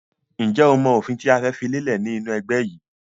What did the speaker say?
Ǹjẹ́ o mọ òfin tí a fẹ́ fi lélẹ̀ ni inu ẹgbẹ́ yìí?